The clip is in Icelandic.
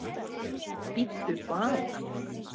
Bíddu bara!